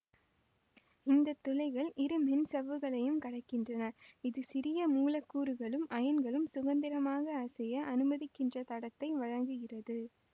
இந்த துளைகள் இரு மென்சவ்வுகளையும் கடக்கின்றன இது சிறிய மூலக்கூறுகளும் அயன்களும் சுதந்திரமாக அசைய அனுமதிக்கின்ற தடத்தை வழங்குகிறது